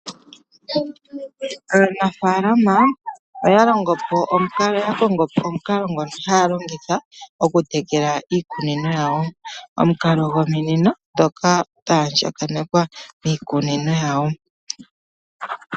Aanafalama oya kongo omukalo ngono haya longitha okutekela iikunino yawo. Omukalo gwominino ndhoka dhaandjakanekwa miikunino yawo.